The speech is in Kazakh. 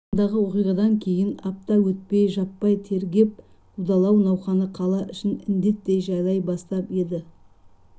алаңдағы оқиғадан кейін апта өтпей жаппай тергеп қудалау науқаны қала ішін індеттей жайлай бастап еді